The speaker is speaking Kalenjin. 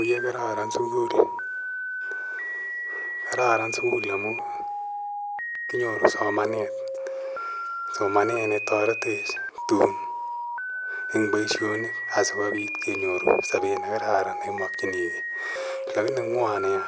Oye kararan sukul. Kararan sukul amu kinyoru somanet. Somanet ne taretech tun eng' poishonik asikopit kenyoru sapet ne kararan ne imakchinigei. Lakini mwan nea